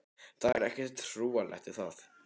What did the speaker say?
Það er ekkert trúarlegt við það.